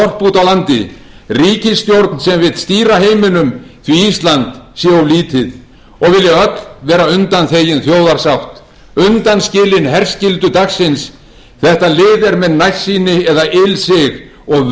á við þorp úti á landi ríkisstjórn sem vill stýra heiminum því ísland sé of lítið og vilja öll vera undanþegin þjóðarsátt undanskilin herskyldu dagsins þetta lið er með nærsýni eða ilsig og verður